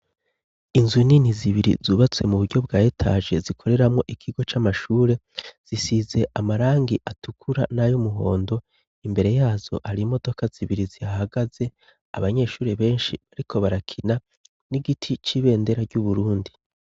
Inzu nini zibiri zubatse mu buryo bwa étage zikoreramo ikigo cy'amashuri, zisize amarangi atukura n'ayoumuhondo, imbere yazo hari imodoka zibiri zihagaze abanyeshuri benshi bariko barakina n'igiti c'ibendera ry'Uburundi.